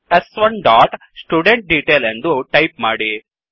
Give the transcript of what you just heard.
ಸ್1 dot student detail ಎಂದು type ಮಾಡಿ